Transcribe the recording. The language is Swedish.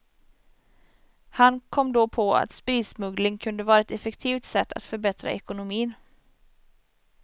Han kom då på att spritsmuggling kunde vara ett effektivt sätt att förbättra ekonomin.